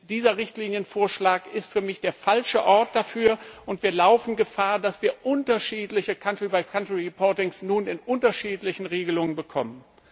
Dieser Richtlinienvorschlag ist für mich der falsche Ort dafür, und wir laufen Gefahr, dass wir unterschiedliche country by country reportings nun in unterschiedlichen Regelungen bekommen.